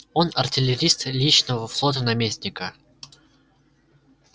он артиллерист личного флота наместника